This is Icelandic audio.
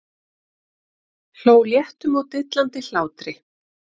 Hló léttum og dillandi hlátri.